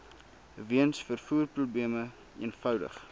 weens vervoerprobleme eenvoudig